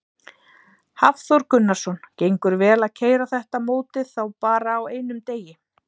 Hafþór Gunnarsson: Gengur vel að keyra þetta mótið þá bara á einum degi?